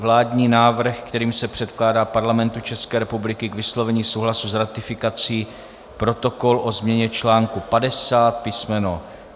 Vládní návrh, kterým se předkládá Parlamentu České republiky k vyslovení souhlasu s ratifikací Protokol o změně článku 50 písm.